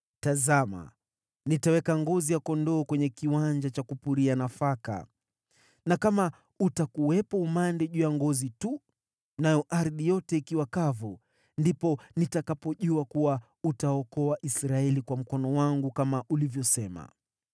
tazama, nitaweka ngozi ya kondoo kwenye kiwanja cha kupuria nafaka, na kama utakuwepo umande juu ya ngozi tu, nayo ardhi yote ikiwa kavu, ndipo nitakapojua kuwa utaokoa Israeli kwa mkono wangu, kama ulivyosema.”